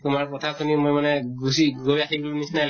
তোমাৰ কথা শুনি মই মানে গুছি গৈ আহিলো নিছিনাই